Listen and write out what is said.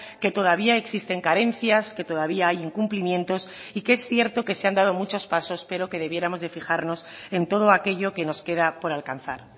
que todavía existen carencias que todavía hay incumplimientos y que es cierto que se han dado muchos pasos pero que debiéramos de fijarnos en todo aquello que nos queda por alcanzar